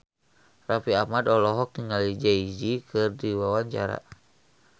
Raffi Ahmad olohok ningali Jay Z keur diwawancara